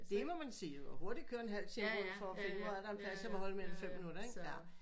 Det må man sige jo og hurtig køre en halv time for for at finde en plads hvor en plads jeg må holde i mere end fem minutter ikke jaer